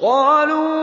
قَالُوا